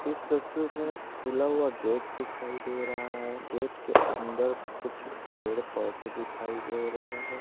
इस तस्वीर में एक खुला हुआ गेट दिखाई दे रहा हैं गेट के अंदर कुछ पेड़ पौधे दिखाई दे रहे है।